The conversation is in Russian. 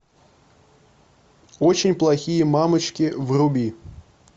очень плохие мамочки вруби